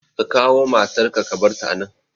Ka kawo matar ka ka barta a nan!